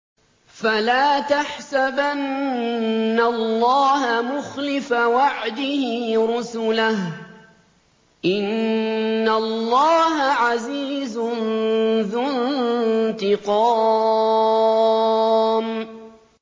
فَلَا تَحْسَبَنَّ اللَّهَ مُخْلِفَ وَعْدِهِ رُسُلَهُ ۗ إِنَّ اللَّهَ عَزِيزٌ ذُو انتِقَامٍ